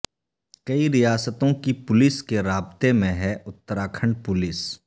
کئی ریاستوں کی پولیس کے رابطے میں ہے اتراکھنڈ پولیس